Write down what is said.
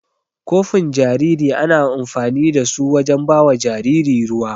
Kofin jariri ana amfanin da su wajen bawa jariri ruwa.